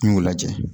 N y'o lajɛ